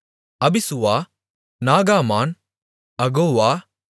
அபிசுவா நாகாமான் அகோவா